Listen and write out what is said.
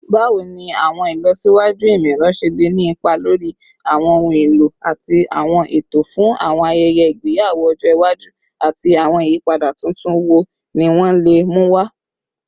Bawo ni awọn ilọsiwaju imọ-ẹrọ ṣe le ni ipa lori awọn ohun elo ati awọn eto fun awọn ayẹyẹ igbeyawo ọjọ iwaju, ati awọn iyipada tuntun wo ni wọn le mu wa?